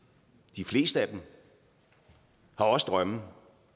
de fleste af dem har også drømme